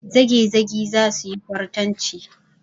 Zagezagi za su yi kwartanci.